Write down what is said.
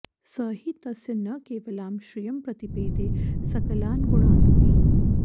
स हि तस्य न केवलां श्रियं प्रतिपेदे सकलान्गुणानपि